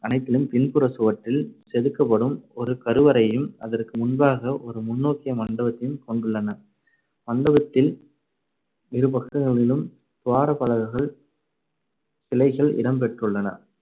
அனைத்திலும் பின்புறச் சுவற்றில் செதுக்கப்படும் ஒரு கருவறையையும் அதற்கு முன்பாக ஒரு முன்னோக்கிய மண்டபத்தையும் கொண்டுள்ளன. மண்டபத்தில் இரு பக்கங்களிலும் துவாரபாலகர்கள் சிலைகள் இடம் பெற்றுள்ளன.